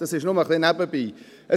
Das nur nebenbei.